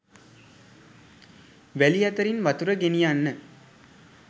වැලි අතරින් වතුර ‍ගෙනියන්න